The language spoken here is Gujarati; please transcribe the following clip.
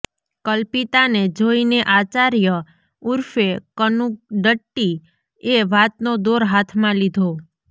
કલ્પિતાને જોઇને આચાર્ય ઉર્ફે કનુ દટ્ટી એ વાતનો દોર હાથમાં લીધો